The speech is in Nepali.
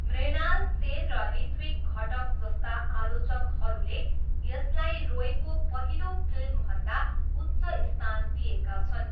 मृणाल सेन र ऋत्विक घटक जस्ता आलोचकहरूले यसलाई रोयको पहिलो फिल्मभन्दा उच्च स्थान दिएका छन्।